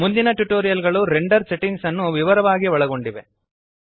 ಮುಂದಿನ ಟ್ಯುಟೋರಿಯಲ್ ಗಳು render settings ಅನ್ನು ವಿವರವಾಗಿ ಒಳಗೊಂಡಿವೆ